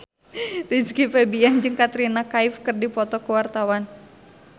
Rizky Febian jeung Katrina Kaif keur dipoto ku wartawan